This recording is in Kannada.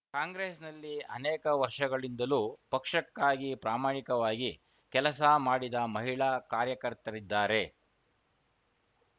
ಕಾಂಗ್ರೆಸ್‌ನಲ್ಲಿ ಅನೇಕ ವರ್ಷಗಳಿಂದಲೂ ಪಕ್ಷಕ್ಕಾಗಿ ಪ್ರಾಮಾಣಿಕವಾಗಿ ಕೆಲಸ ಮಾಡಿದ ಮಹಿಳಾ ಕಾರ್ಯಕರ್ತರಿದ್ದಾರೆ